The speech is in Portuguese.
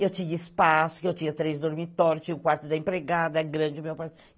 Eu tinha espaço, que eu tinha três dormitórios, tinha o quarto da empregada, grande o meu quarto.